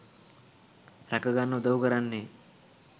රැකගන්න උදව් කරන්නේ